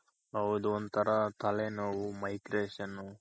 ಹೌದು ಒಂತರ ತಲೆ ನೋವು Migration